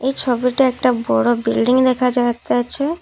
এই ছবিটা একটা বড়ো বিল্ডিং দেখা যাইতাছে।